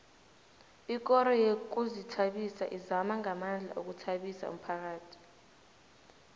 ikoro yezokuzithabisa izama ngamandla ukuthabisa umphakhathi